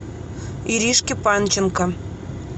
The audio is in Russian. иришке панченко